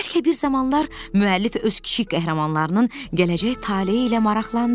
Bəlkə bir zamanlar müəllif öz kiçik qəhrəmanlarının gələcək taleyi ilə maraqlandı.